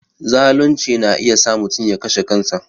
Zalunci na iya sa mutum ya kashe kansa